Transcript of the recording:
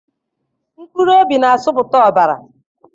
Mkpụrụobi na-asụpụta ọbara.